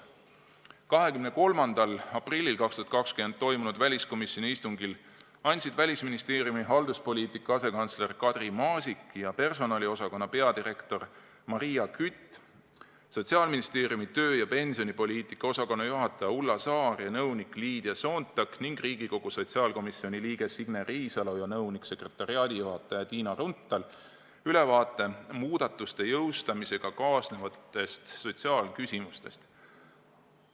23. aprillil 2020 toimunud väliskomisjoni istungil andsid Välisministeeriumi halduspoliitika asekantsler Kadri Maasik ja personaliosakonna peadirektor Maria Kütt, Sotsiaalministeeriumi töö- ja pensionipoliitika osakonna juhataja Ulla Saar ja nõunik Liidia Soontak ning Riigikogu sotsiaalkomisjoni liige Signe Riisalo ja nõunik-sekretariaadijuhataja Tiina Runthal ülevaate muudatuste jõustamisega kaasnevatest sotsiaalküsimustest.